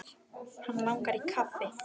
Hann langar í kaffi.